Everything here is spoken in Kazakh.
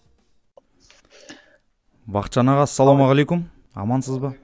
бақытжан аға ассалаумағалейкум амансыз ба